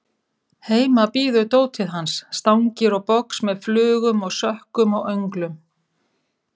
Heima bíður dótið hans, stangir og box með flugum og sökkum og önglum.